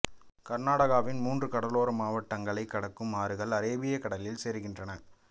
கர்நாடகாவின் மூன்று கடலோர மாவட்டங்களைக் கடக்கும் ஆறுகள் அரேபிய கடலில் சேருகின்றன